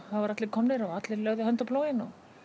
allir og allir lögðu hönd á plóginn